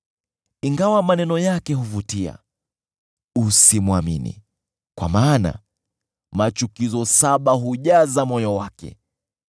Ingawa maneno yake huvutia, usimwamini, kwa maana machukizo saba hujaza moyo wake.